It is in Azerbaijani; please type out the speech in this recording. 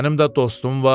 Mənim də dostum var,